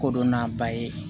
Kodɔn n'a ba ye